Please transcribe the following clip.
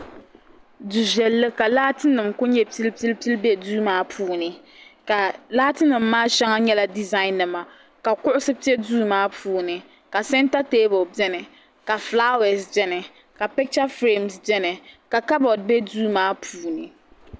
du viɛlli ka laati nim ku nyɛ pili pili pili bɛ duu maa puuni ka laati nim maa shɛŋa nyɛla dizain nima kuɣusi bɛ duu kaa puuni ka sɛnta teebuli biɛni ka fulaawɛs biɛni ka picha firɛms biɛni ka kabood bɛ duu maa puuni